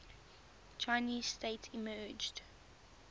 chinese state emerged